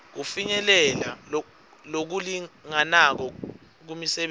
kufinyelela lokulinganako kumisebenti